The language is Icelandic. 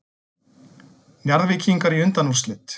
Njarðvíkingar í undanúrslit